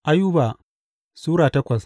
Ayuba Sura takwas